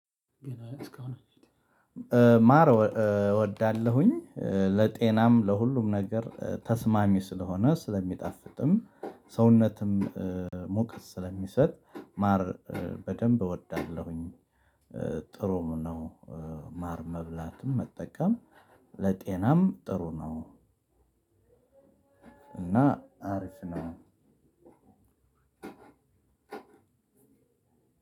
ማር እወዳለሁኝ ለጤናም ለሁሉም ነገር ተስማሚ ስለሆነ ስለሚጣፍጥም ሰውነትም ሙቀት ስለሚሰጥ ማር በደንብ እወዳለሁኝ። ጥሩም ነው። ማር መብላትም መጠቀም ለጤናም ጥሩ ነው። እና አሪፍ ነው ከ